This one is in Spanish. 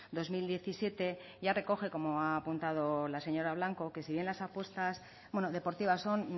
dos mil diecisiete ya recoge como ha apuntado la señora blanco que si bien las apuestas deportivas son